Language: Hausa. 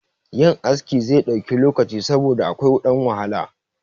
Yin askin zai ɗauki lokaci saboda akwai ɗan wahala